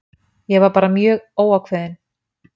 Ég var bara mjög óákveðinn.